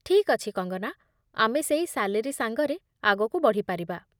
ଠିକ୍ ଅଛି, କଙ୍ଗନା, ଆମେ ସେଇ ସାଲେରୀ ସାଙ୍ଗରେ ଆଗକୁ ବଢ଼ି ପାରିବା ।